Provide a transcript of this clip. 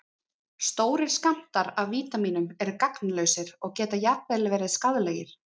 Stórir skammtar af vítamínum eru gagnslausir og geta jafnvel verið skaðlegir.